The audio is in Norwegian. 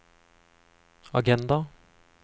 agenda